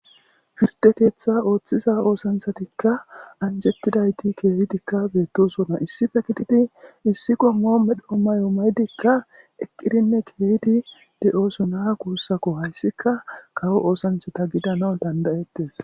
firde keetha ooththiza oosanthatikka anjettidayti keehidikka beettosona issife gididi issiko moo medho mayo maydikka eqqirinne keehidi de7oosona kuussako hayssika kawo oosanthata gidana dandayettes